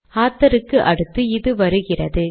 author க்கு அடுத்து இது வருகிறது